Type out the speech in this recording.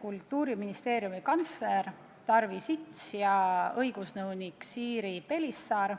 Kultuuriministeeriumi kantsler Tarvi Sits ja õigusnõunik Siiri Pelisaar